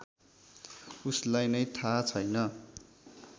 उसलाई नै थाहा छैन